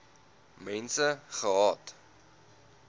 mense gehad